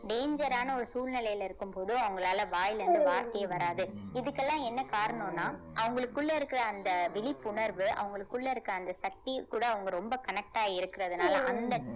danger ஆன ஒரு சூழ்நிலையில இருக்கும்போது அவங்களால வாயில இருந்து வார்த்தையே வராது இதுக்கெல்லாம் என்ன காரணம்னா அவங்களுக்குள்ள இருக்கிற அந்த விழிப்புணர்வு அவங்களுக்குள்ள இருக்கிற அந்த சக்தி கூட அவங்க ரொம்ப connect ஆ இருக்கிறதுனால அந்த